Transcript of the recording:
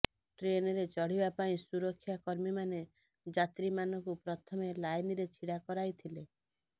ଟ୍ରେନରେ ଚଢିବା ପାଇଁ ସୁରକ୍ଷାକର୍ମୀମାନେ ଯାତ୍ରୀ ମାନଙ୍କୁ ପ୍ରଥମେ ଲାଇନରେ ଛିଡ଼ା କରାଇଥିଲେ